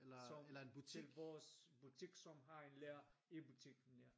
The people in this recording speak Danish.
Som det er vores butik som har et lager i butikken ja